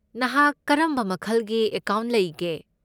ꯅꯍꯥꯛ ꯀꯔꯝꯕ ꯃꯈꯜꯒꯤ ꯑꯦꯀꯥꯎꯟꯠ ꯂꯩꯒꯦ?